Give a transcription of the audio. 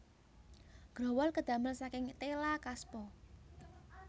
Growol kadamel saking téla kaspa